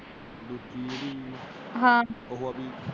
ਹਾਂ